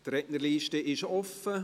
Die Rednerliste ist offen.